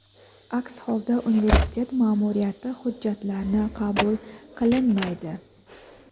aks holda universitet ma’muriyati hujjatlarni qabul qilinmaydi.